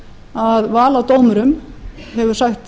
að val á dómurum hefur sætt